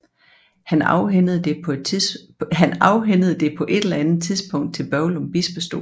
Han afhændede det på et eller andet tidspunkt til Børglum Bispestol